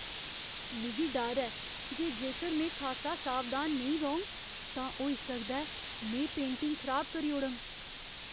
मिगी डर ऐ जे जेकर में खासा सावधान नेईं रौह्ङ तां होई सकदा ऐ में पेंटिंग खराब करी ओड़ङ।